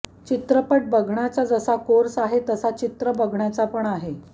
चित्रपट बघण्याचा जसा कोर्स आहे तसा चित्र बघण्याचा पण आहे